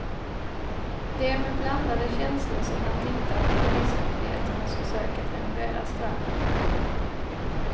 Det är med blandade känslor som han tittar på turistmyndigheternas försök att renovera stranden.